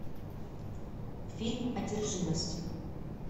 фильм одержимость